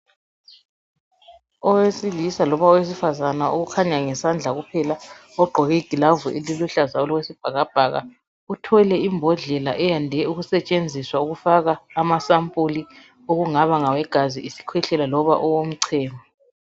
Owesilisa loba owesifazane okhanya ngesandla kuphela ogqoke igilavu eliluhlaza okwesibhakabhaka uthwele imbodlela eyande ukusetshenziswa ukufaka amasampuli okungaba ngawegazi, isikhwehlela loba owomchemo.